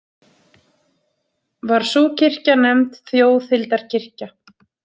Var sú kirkja nefnd Þjóðhildarkirkja.